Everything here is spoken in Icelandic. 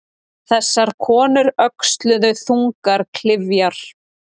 Þessar konur öxluðu þungar klyfjar.